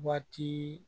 Waati